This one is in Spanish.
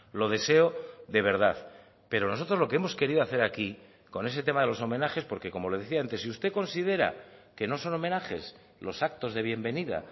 lo deseo de verdad pero nosotros lo que hemos querido hacer aquí con ese tema de los homenajes porque como le decía antes si usted considera que no son homenajes los actos de bienvenida